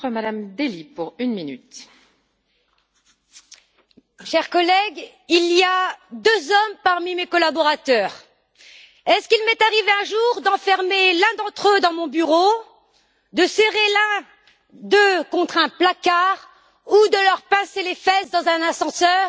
Madame la Présidente, chers collègues, il y a deux hommes parmi mes collaborateurs. Est ce qu'il m'est arrivé un jour d'enfermer l'un d'entre eux dans mon bureau, de serrer l'un d'eux contre un placard ou de leur pincer les fesses dans un ascenseur?